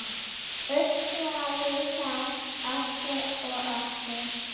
Öskraði það aftur og aftur.